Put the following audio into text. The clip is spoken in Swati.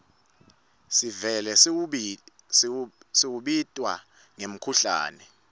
sevele sewubitwa ngemkhuhlane